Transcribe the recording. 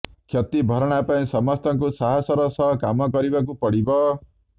କ୍ଷତି ଭରଣା ପାଇଁ ସମସ୍ତଙ୍କୁ ସାହସର ସହ କାମ କରିବାକୁ ପଡ଼ିବ